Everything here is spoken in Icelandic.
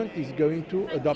í Reykjavík